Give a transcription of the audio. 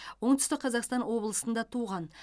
оңтүстік қазақстан облысында туған